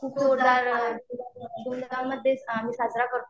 आम्ही साजरा करतो.